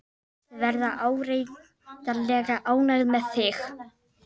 Þau verða áreiðanlega ánægð með þig.